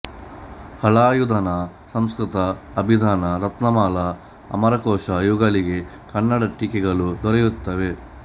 ಹಲಾಯುಧನ ಸಂಸ್ಕೃತ ಅಬಿಧಾನ ರತ್ನಮಾಲಾ ಅಮರಕೋಶ ಇವುಗಳಿಗೆ ಕನ್ನಡ ಟೀಕೆಗಳು ದೊರೆಯುತ್ತವೆ